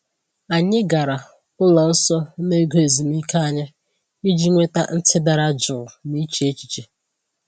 Anyị gara ụlọ nsọ n’oge ezumike anyị iji nweta ntị dara jụụ na iche echiche.